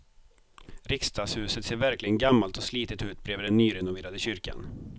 Riksdagshuset ser verkligen gammalt och slitet ut bredvid den nyrenoverade kyrkan.